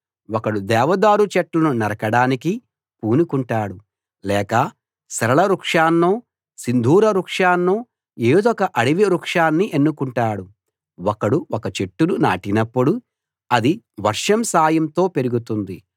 ఒకడు దేవదారు చెట్లను నరకడానికి పూనుకుంటాడు లేక సరళ వృక్షాన్నో సింధూర వృక్షాన్నో ఏదొక అడవి వృక్షాన్ని ఎన్నుకుంటాడు ఒకడు ఒక చెట్టును నాటినప్పుడు అది వర్షం సాయంతో పెరుగుతుంది